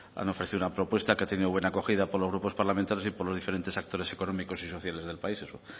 han ofrecido una propuesta que ha tenido buena acogida por los grupos parlamentarios y por lo diferentes actores económicos y sociales del país eso